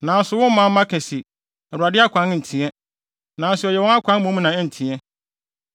“Nanso wo manmma ka se, ‘ Awurade akwan nteɛ.’ Nanso ɛyɛ wɔn akwan mmom na ɛnteɛ.